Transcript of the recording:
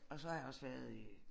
Og så har jeg også været i